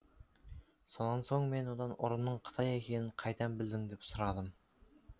сонан соң мен одан ұрының қытай екенін қайдан білдің деп сұрадым